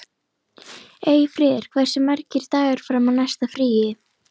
Eyfríður, hversu margir dagar fram að næsta fríi?